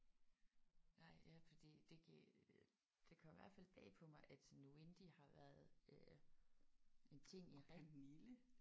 Nej ja fordi det giver det kom i hvert fald bag på mig at sådan Wendy har været øh en ting i rigtig